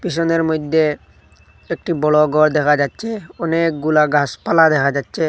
পিসনের মইদ্যে একটি বড় ঘর দেখা যাচ্ছে অনেকগুলা গাসপালা দেখা যাচ্ছে।